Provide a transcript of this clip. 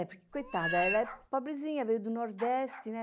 É por que, coitada, ela é pobrezinha, veio do Nordeste, né?